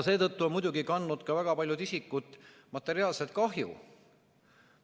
Seetõttu on muidugi kandnud ka väga paljud isikud materiaalset kahju.